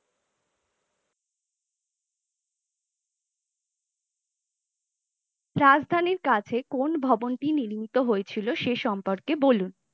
রাজধানী কাছে কোন ভবনটি নির্মিত হয়ে ছিলো সে সম্পর্কে বলুন?